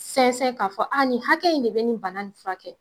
Sinsɛ k'a fɔ nin hakɛ in de bɛ nin bana in furakɛ?